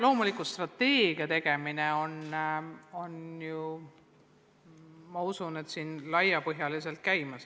Loomulikult, strateegia laiapõhjaline tegemine käib.